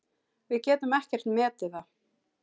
Við getum ekkert metið það.